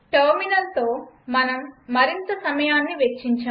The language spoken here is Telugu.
టెర్మినల్తో మనం మరింత సమయాన్ని వెచ్చించం